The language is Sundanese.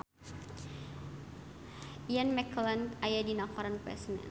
Ian McKellen aya dina koran poe Senen